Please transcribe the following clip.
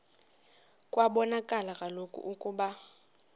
kwabonakala kaloku ukuba